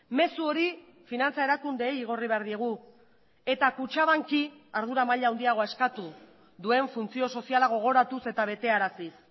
mezu hori finantza erakundeei igorri behar diegu eta kutxabank i ardura maila handiagoa eskatu duen funtzio soziala gogoratuz eta betearaziz